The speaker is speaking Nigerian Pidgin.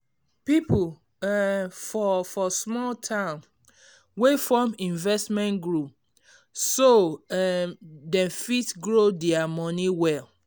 people um for for small town dey form investment group so um dem fit grow dia money well